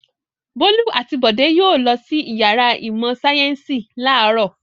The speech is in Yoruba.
Bólú àti Bọ̀dé yóò lọ sí ìyàrá ìmọ̀-sáyẹ́ńsì láàárọ̀.